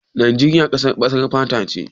Najeriya ƙasar baƙar fata ce?